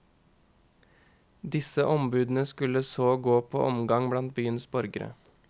Disse ombudene skulle så gå på omgang blant byens borgere.